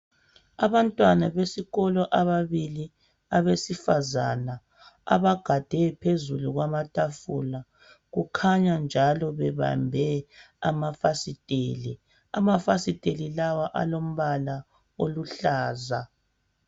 Abantwana besikolo ababili abesifazana .Abagade phezulu kwamatafula. Kukhanya njalo bebambe amafasiteli .Amafasiteli lawa alombala oluhlaza .